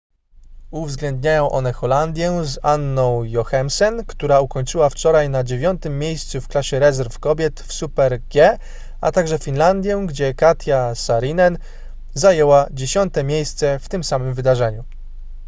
uwzględniają one holandię z anną jochemsen która ukończyła wczoraj na dziewiątym miejscu w klasie rezerw kobiet w super-g a także finlandię gdzie katja saarinen zajęła dziesiąte miejsce w tym samym wydarzeniu